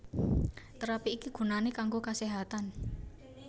Terapi iki gunané kanggo kaséhatan